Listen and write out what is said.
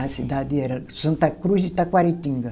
A cidade era Santa Cruz de Taquaritinga.